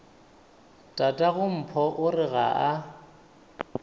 tatagompho o re ga a